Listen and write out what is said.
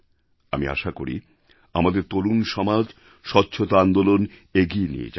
আমি আশা করি আমাদের তরুণ সমাজ স্বচ্ছতা আন্দোলন এগিয়ে নিয়ে যাবে